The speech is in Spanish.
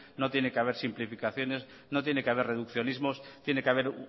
no tiene que haber simplificaciones no tiene que haber reduccionismos tiene que haber